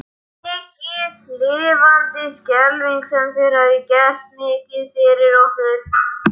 Mikið lifandis skelfing sem þér hafið gert mikið fyrir okkur.